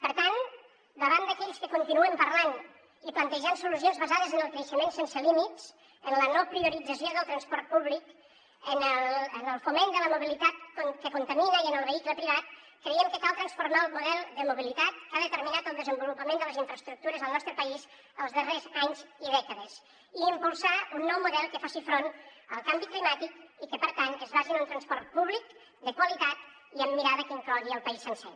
per tant davant d’aquells que continuen parlant i plantejant solucions basades en el creixement sense límits en la no priorització del transport públic en el foment de la mobilitat que contamina i en el vehicle privat creiem que cal transformar el model de mobilitat que ha determinat el desenvolupament de les infraestructures al nostre país els darrers anys i dècades i impulsar un nou model que faci front al canvi climàtic i que per tant es basi en un transport públic de qualitat i amb mirada que inclogui el país sencer